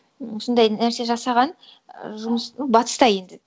осындай нәрсе жасаған жұмыс ну батыста енді